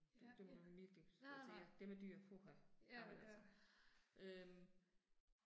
Det det må du virkelig, altså jeg, det med dyr, puha, jamen altså. Øh